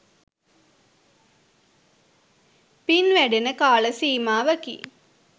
පින් වැඩෙන කාල සීමාවකි.